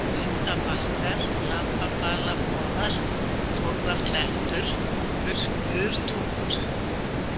Grundabakkar, Lambabalaboðar, Þórðarklettur, Murtungur